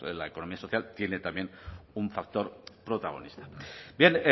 la economía social tiene también un factor protagonista bien